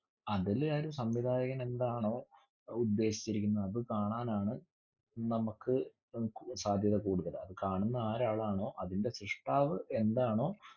അതിലായൊരു സംവിധായകൻ എന്താണോ ഉദ്ദേശിച്ചിരിക്കുന്നേ അത് കാണാൻ ആണ് നമ്മുക്ക് ഏർ സാധ്യത കൂടുതല്. കാണുന്ന ആരാളാണോ അതിന്റെ സൃഷ്ടാവ് എന്താണോ